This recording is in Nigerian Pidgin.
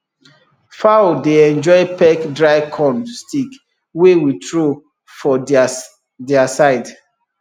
fowl dey enjoy peck dry corn stick wey we throw for their their side